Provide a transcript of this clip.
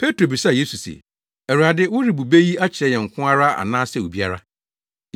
Petro bisaa Yesu se, “Awurade, worebu bɛ yi akyerɛ yɛn nko ara anaasɛ obiara?”